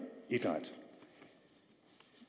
idræt